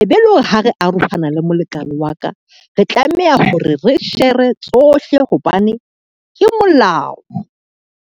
E be e le hore ha re arohana le molekane wa ka, re tlameha hore re shere tsohle hobane ke molao.